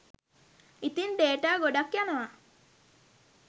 ඉතින් ඩේටා ගොඩක් යනවා